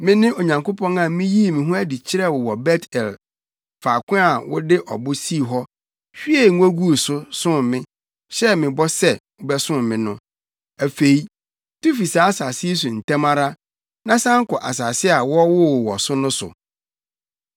Mene Onyankopɔn a miyii me ho adi kyerɛɛ wo wɔ Bet-El, faako a wode ɔbo sii hɔ, hwiee ngo guu so, som me, hyɛɛ me bɔ sɛ, wobɛsom me no. Afei, tu fi saa asase yi so ntɛm ara, na san kɔ asase a wɔwoo wo wɔ so no so.’ ”